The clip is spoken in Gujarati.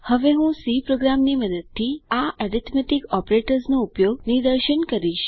હવે હું સી પ્રોગ્રામ ની મદદથી આ એરિથમેટિક ઓપરેટર્સનો ઉપયોગ નિદર્શન કરીશ